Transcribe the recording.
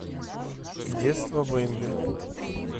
детство бемби